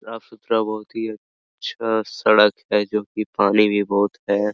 साफ-सुथरा बहुत ही अच्छा सड़क है जो की पानी भी बहुत है।